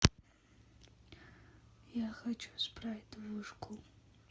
я хочу спрайт вышку